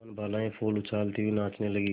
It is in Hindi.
वनबालाएँ फूल उछालती हुई नाचने लगी